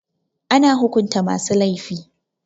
Ana hukunta masu laifi.